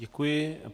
Děkuji.